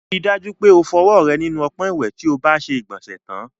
Rí i dájú pé o fọwọ́ rẹ nínú ọpọ́n ìwẹ̀ tí o bá ti ṣe ìgbọ̀nsẹ̀ tán.